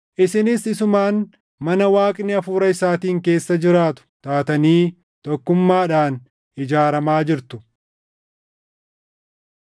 Isinis isumaan mana Waaqni Hafuura isaatiin keessa jiraatu taatanii tokkummaadhaan ijaaramaa jirtu.